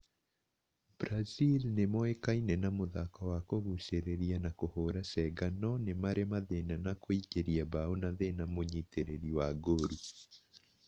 Brazil nĩmoĩkaine na mũthako wa kũgucĩrĩria na kũhũra cenga no nĩ marĩ mathĩna na kũingĩria mbaũ na thĩna mũnyitĩrĩri wa ngoru